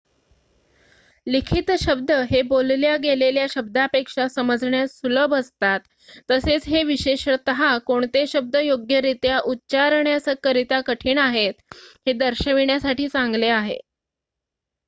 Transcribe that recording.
लिखित शब्द हे बोलल्या गेलेल्या शब्दापेक्षा समजण्यास सुलभ असतात तसेच हे विशेषतः कोणते शब्द योग्यरित्या उच्चारण्याकरिता कठीण आहेत हे दर्शविण्यासाठी चांगले आहे